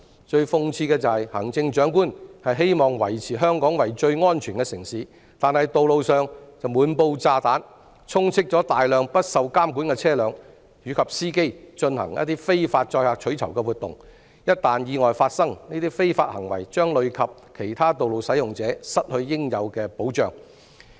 最諷刺的是，行政長官希望維持香港為最安全的城市，但道路上卻滿布"炸彈"，充斥了大量不受監管的車輛及司機進行非法載客取酬活動，一旦發生意外，這些非法行為將累及其他道路使用者失去應有的保障。